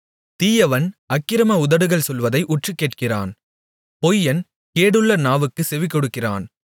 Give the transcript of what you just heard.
தீயவன் அக்கிரம உதடுகள் சொல்வதை உற்றுக்கேட்கிறான் பொய்யன் கேடுள்ள நாவுக்குச் செவிகொடுக்கிறான்